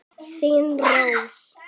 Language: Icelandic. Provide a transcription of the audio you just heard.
Þín Rós.